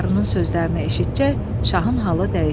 Qarının sözlərini eşitcək şahın halı dəyişdi.